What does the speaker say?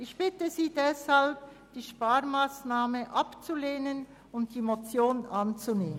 Ich bitte Sie deshalb, die Sparmassnahme abzulehnen und die Motion anzunehmen.